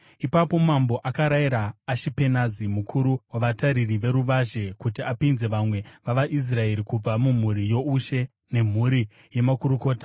Ipapo mambo akarayira Ashipenazi, mukuru wavatariri veruvazhe, kuti apinze vamwe vavaIsraeri kubva mumhuri youshe nemhuri yemakurukota,